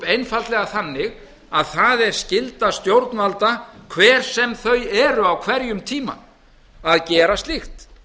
einfaldlega þannig að það er skylda stjórnvalda hver sem þau eru á hverjum tíma að gera slíkt